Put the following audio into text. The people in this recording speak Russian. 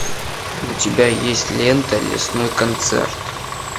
у тебя есть лента лесной концерт